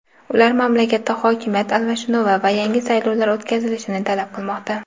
ular mamlakatda hokimiyat almashinuvi va yangi saylovlar o‘tkazilishini talab qilmoqda.